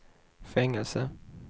fängelse